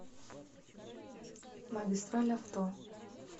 магистраль авто